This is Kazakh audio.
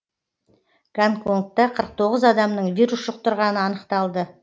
гонконгта қырық тоғыз адамның вирус жұқтырғаны анықталды